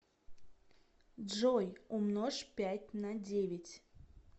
джой умножь пять на девять